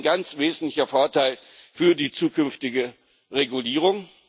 Das ist ein ganz wesentlicher Vorteil für die zukünftige Regulierung.